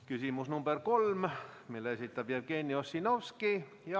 Küsimus nr 3, mille esitab Jevgeni Ossinovski.